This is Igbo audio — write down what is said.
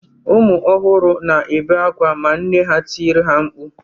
Ụmụ ọhụrụ na-ebe akwa ma nne ha tiri ha mkpu